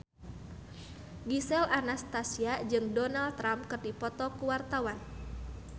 Gisel Anastasia jeung Donald Trump keur dipoto ku wartawan